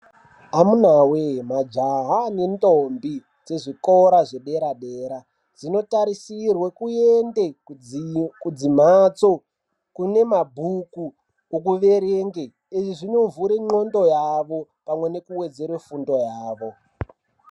Amunawee majaha nendombi dzezvikora zvedera dera zvinotarisirwe kuende kudzimhatso kune mabhuku okuverenge. Izvi zvinovhure nqondo yavo pamwe nekuwedzere fundo yavo.